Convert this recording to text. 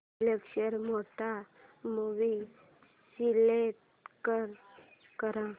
picture mode movie select कर